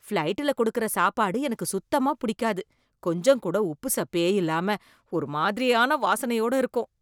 ஃபிளைட்டுல கொடுக்கிற சாப்பாடு எனக்கு சுத்தமா பிடிக்காது. கொஞ்சம் கூட உப்புசப்பே இல்லாம, ஒருமாதிரியான வாசனையோட இருக்கும்.